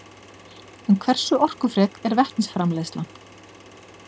En hversu orkufrek er vetnisframleiðslan?